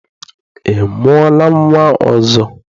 Ị mụọla nnwa ọzọ?